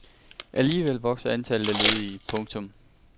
Alligevel vokser antallet af ledige. punktum